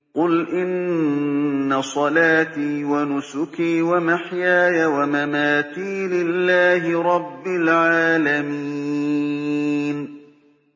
قُلْ إِنَّ صَلَاتِي وَنُسُكِي وَمَحْيَايَ وَمَمَاتِي لِلَّهِ رَبِّ الْعَالَمِينَ